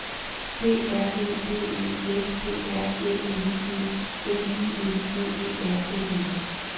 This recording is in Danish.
P R Ø V E S P R Æ N G N I N G E R N E